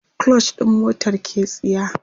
clutch ɗin motar ke tsiya